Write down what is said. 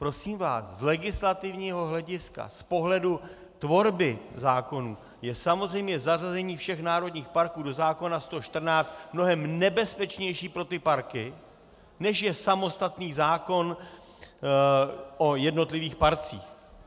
Prosím vás, z legislativního hlediska, z pohledu tvorby zákonů je samozřejmě zařazení všech národních parků do zákona 114 mnohem nebezpečnější pro ty parky, než je samostatný zákon o jednotlivých parcích.